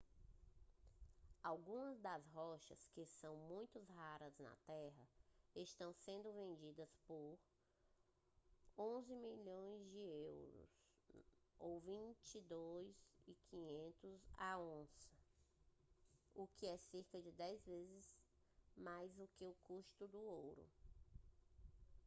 algumas das rochas que são muito raras na terra estão sendo vendidas por us$ 11.000 a us$ 22.500 a onça o que é cerca de 10 vezes mais que o custo do ouro